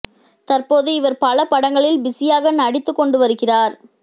தற்போது இவர் பல படங்களில் பிசியாக நடித்து கொண்டு வருகிறார்